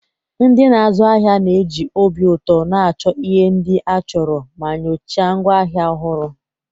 Ndị na-azu ahịa na-eji obi ụtọ na-achọ ihe ndị a chọrọ ma nyochaa ngwaahịa ọhụrụ.